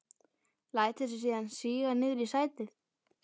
Lætur sig síðan síga niður í sætið.